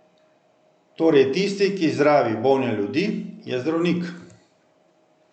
Torej tisti, ki zdravi bolne ljudi, je zdravnik.